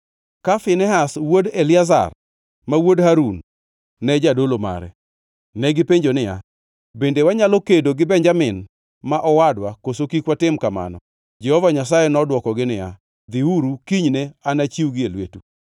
ka Finehas wuod Eliazar, ma wuod Harun, ne jadolo mare.) Negipenjo niya, “Bende wanyalo kedo gi Benjamin ma owadwa, koso kik watim kamano?” Jehova Nyasaye nodwokogi niya, “Dhiuru kinyne anachiwgi e lwetu.”